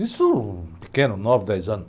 Isso, pequeno, nove, dez anos.